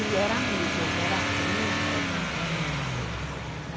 Ele era amigo, ele era primo da minha mãe, uma coisa assim, né?